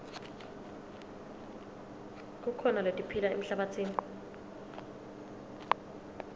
kukhona letiphila emhlabatsini